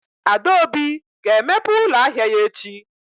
Adaobi ga-emepe ụlọ ahịa ya echi?